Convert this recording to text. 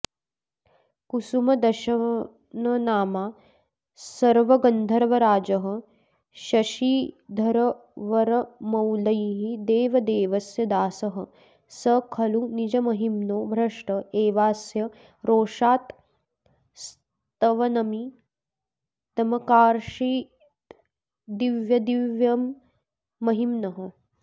कुसुमदशननामा सर्वगन्धर्वराजः शशिधरवरमौलेर्देवदेवस्य दासः स खलु निजमहिम्नो भ्रष्ट एवास्य रोषात्स्तवनमिदमकार्षीद्दिव्यदिव्यम्महिम्नः